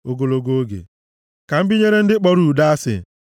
Ogologo oge ka m binyere ndị kpọrọ udo asị.